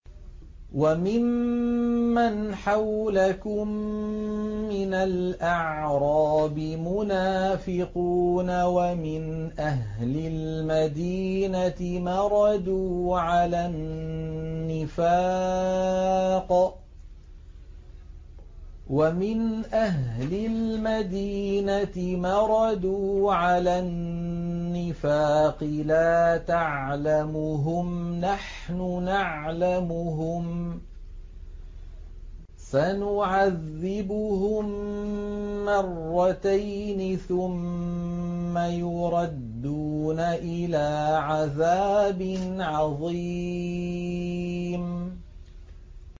وَمِمَّنْ حَوْلَكُم مِّنَ الْأَعْرَابِ مُنَافِقُونَ ۖ وَمِنْ أَهْلِ الْمَدِينَةِ ۖ مَرَدُوا عَلَى النِّفَاقِ لَا تَعْلَمُهُمْ ۖ نَحْنُ نَعْلَمُهُمْ ۚ سَنُعَذِّبُهُم مَّرَّتَيْنِ ثُمَّ يُرَدُّونَ إِلَىٰ عَذَابٍ عَظِيمٍ